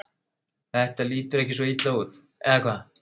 Þetta lítur ekki svo illa út, eða hvað?